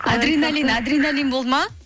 адреналин адреналин болды ма